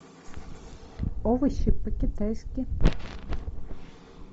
овощи по китайски